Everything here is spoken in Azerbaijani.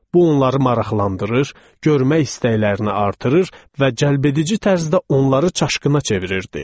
Bu onları maraqlandırır, görmək istəklərini artırırdı və cəlbedici tərzdə onları çaşqına çevirirdi.